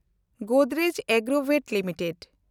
Godrej Agrovet limited